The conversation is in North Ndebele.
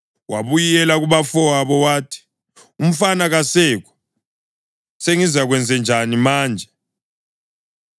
Wabuyela kubafowabo wathi, “Umfana kasekho! Sengizakwenzanjani manje?”